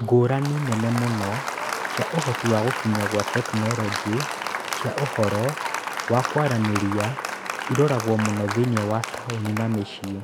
Ngũrani nene mũno cia ũhoti wa gũkinya kwa tekinoronjĩ cia ũhoro wa kũaranĩrĩa ĩroragwo muno thĩinĩ wa taũni na mĩciĩ-inĩ